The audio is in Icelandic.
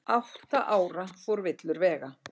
Átta ára fór villur vega